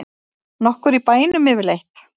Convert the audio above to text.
Nokkur í bænum yfirleitt?